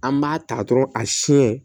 An b'a ta dɔrɔn a siɲɛ